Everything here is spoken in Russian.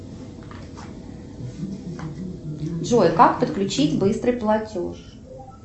джой как подключить быстрый платеж